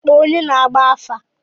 Kpọọ onye na-agba afa!